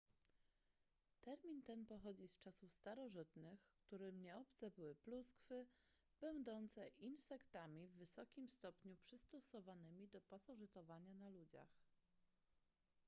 termin ten pochodzi z czasów starożytnych którym nieobce były pluskwy będące insektami w wysokim stopniu przystosowanymi do pasożytowania na ludziach